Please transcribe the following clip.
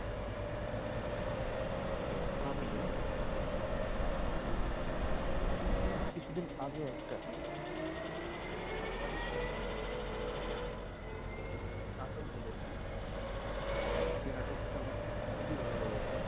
আমি উম কিছুদিন আগে একটা আহ বাংলাদেশের আহ নাটক দেখেছি যে নাটক টা আমার খুবই ভালো লেগেছে I